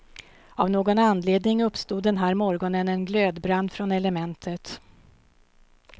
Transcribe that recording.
Av någon anledning uppstod den här morgonen en glödbrand från elementet.